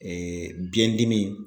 biyɛndimi